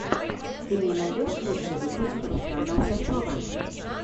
ты мне найдешь лучший выпуск руслана усачева